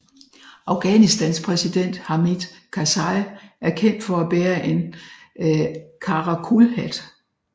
Afghanistans præsident Hamid Karzai er kendt for at bære an karakulhat